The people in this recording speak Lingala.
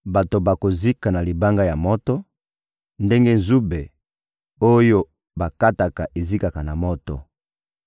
Bato bakozika na libanga ya moto, ndenge nzube oyo bakata ezikaka na moto.»